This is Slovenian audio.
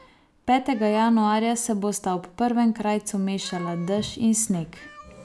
Petega januarja se bosta ob prvem krajcu mešala dež in sneg.